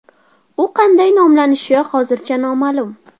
U qanday nomlanishi hozircha noma’lum.